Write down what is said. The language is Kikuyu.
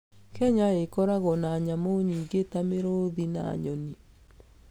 Kenya ĩkoragwo na nyamũ nyingĩ ta mĩrũũthi na nyoni.